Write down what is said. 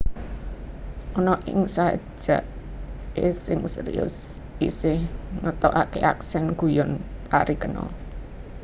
Ana ing sajake sing serius isih ngetokake aksen guyon parikena